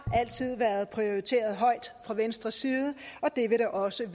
altid været prioriteret højt fra venstres side og det vil det også